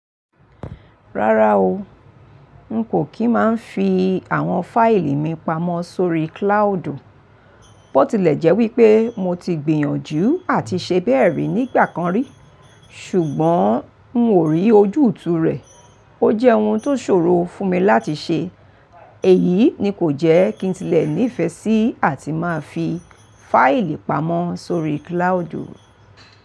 Rárá o, n kò kí máa ń fi àwọn fáìlì mi pamọ́ sórí cloud. Bó tilẹ̀ jẹ́ wípé mo ti gbìyànjú àti ṣe bẹ́ẹ̀ rí nígbà kan rí, ṣùgbọ́n un ò rí ojútùú rẹ̀. Ó jẹ́ ohun tó ṣòro fún mi láti ṣe. Èyí ni kò jẹ́ kí n tilẹ̀ nífẹ̀ẹ́ sí àti máa fi fáìlì pamọ́ sórí cloud.